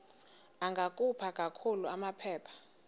ungakhupha kakuhle amaphepha